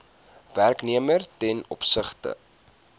werknemer ten opsigte